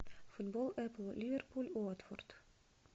футбол эпл ливерпуль уотфорд